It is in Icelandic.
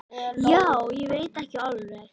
Já, ég veit ekki alveg.